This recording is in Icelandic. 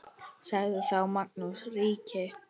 Sagði þá Magnús ríki